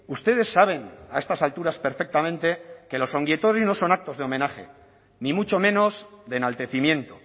ustedes saben a estas alturas perfectamente que los ongi etorri no son actos de homenaje ni mucho menos de enaltecimiento